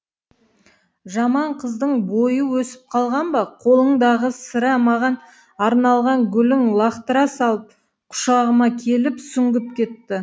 жаман қыздың бойы өсіп қалған ба қолындағы сірә маған арналған гүлін лақтыра салып құшағыма келіп сүңгіп кетті